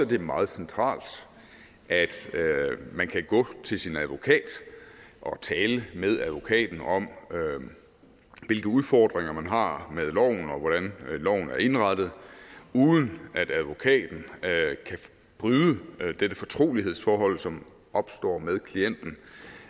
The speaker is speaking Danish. det meget centralt at man kan gå til sin advokat og tale med advokaten om hvilke udfordringer man har med loven og hvordan loven er indrettet uden at advokaten kan bryde dette fortrolighedsforhold som opstår med klienten